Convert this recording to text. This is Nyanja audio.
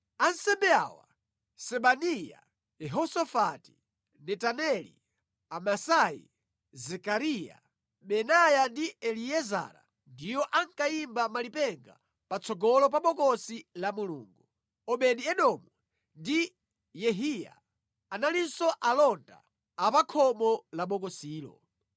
Ansembe awa; Sebaniya, Yehosafati, Netaneli, Amasai, Zekariya, Benaya ndi Eliezara ndiwo ankayimba malipenga patsogolo pa Bokosi la Mulungu. Obedi-Edomu ndi Yehiya analinso alonda a pa khomo la bokosilo.